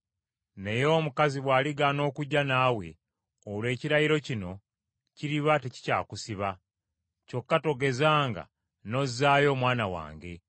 Naye omukazi bw’aligaana okujja naawe, olwo ekirayiro kino kiriba tekikyakusiba. Kyokka togezanga n’ozzaayo omwana wange.”